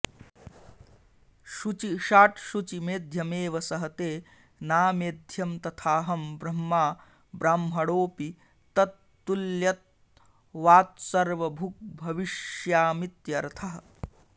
शुचिषाट् शुचि मेध्यमेव सहते नामेध्यम् तथाहं ब्रह्मा ब्राह्मणोऽपि तत्तुल्यत्वात्सर्वभुग्भविष्यामीत्यर्थः